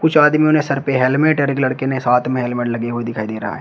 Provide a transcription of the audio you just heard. कुछ आदमियों ने सर पे हेलमेट और एक लड़के ने साथ में हेलमेट लगे हुए दिखाई दे रहा है।